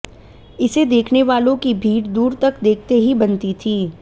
इसे देखने वालों की भीड़ दूर तक देखते ही बनती थी